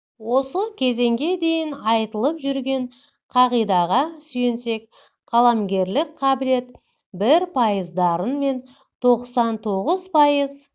осы кезеңге дейін айтылып жүрген қағидаға сүйенсек қаламгерлік қабілет бір пайыз дарын мен тоқсан тоғыз пайыз